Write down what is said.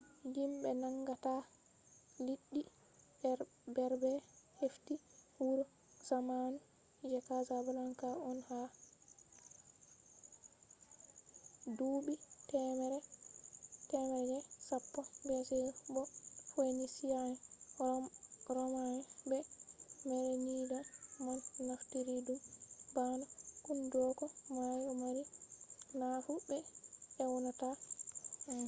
yimbe nangata liɗɗi berber hefti wuro zamanu je casablanca on ha duuɓi temere je sappo bce bo phoenicia'en roma'en be merenid'en man naftiri ɗum bana hunduko mayo mari nafu be ewnata anfa